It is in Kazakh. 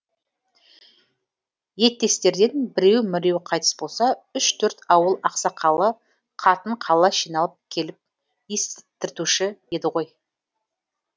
еттестерден біреу міреу қайтыс болса үш төрт ауыл ақсақалы қатын қалаш жиналып келіп естіртуші еді ғой